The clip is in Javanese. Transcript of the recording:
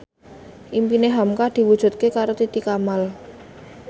impine hamka diwujudke karo Titi Kamal